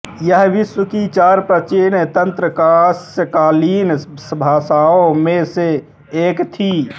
यह विश्व की चार प्राचीन ताम्रकांस्यकालीन सभ्यताओं में से एक थी